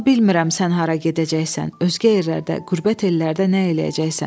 Amma bilmirəm sən hara gedəcəksən, özgə yerlərdə, qürbət ellərdə nə eləyəcəksən?